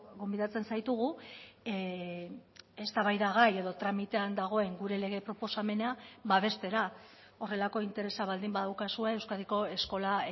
gonbidatzen zaitugu eztabaidagai edo tramitean dagoen gure lege proposamena babestera horrelako interesa baldin badaukazue euskadiko eskola